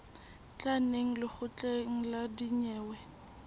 tla neng lekgotleng la dinyewe